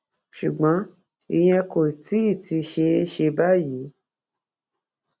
ṣùgbọn ìyẹn kò tí ì tí ì ṣeé ṣe báyìí